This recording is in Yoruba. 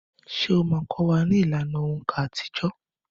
Ṣé ó máa kọ́ wa ní ìlànà òǹkà àtijọ́?